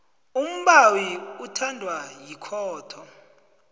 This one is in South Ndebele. umbawi uthathwa yikhotho